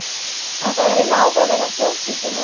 Ætlarðu að vinna áfram innan stjórnsýslunnar?